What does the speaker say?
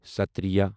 ستتریہ